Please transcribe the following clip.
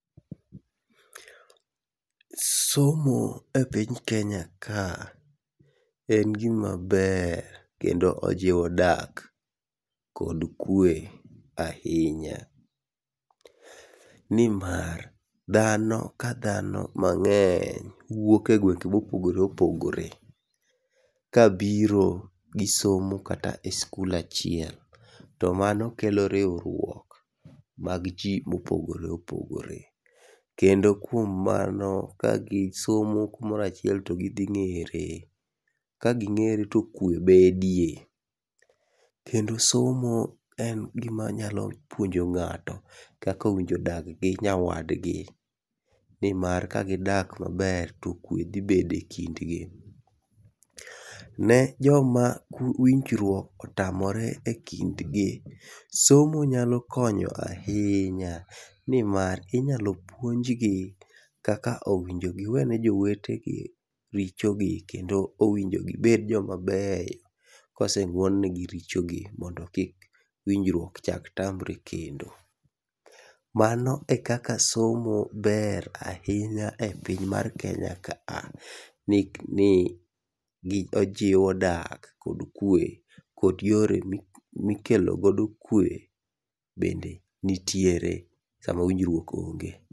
somo e piny ka en gima ber nikech ojiwo dak kod kue ahinya ni mar dhano mang'eny wuok e gwenge mopogore opogore kabiro gisomo kata e skul achiel to mano kelo riwruok mag ji mopogore opogore kendo kuom mano ka gisomo kumoro achiel to gi dhi ng'ere, ka gi ng'ere to kue bedie, kendo somo en gima nyalo puonjo ng'ato kaka owijore odag gi nyawadgi, nimar ka gidak maber to kue dhi bedo e kind gi, ne joma winjruok otamore e kind gi ,somo nyalo konyo somo nyalo konyo ahinya ni mar inyalo puonj gi kaka owinjo giwene jowetegi richo kendo owinjo gibed joma beyo kose ng'uon ne gi richo gi mondo kik winjruok chak tamre kendo, mano e kaka somo ber ahinya e piny mar kenya ka a ni ojiwo dak gi kue kod yore mikelo kodo kue bende nitiere sama winjruok ong'e.